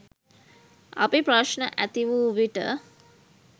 අපි ප්‍රශ්න ඇති වූ විට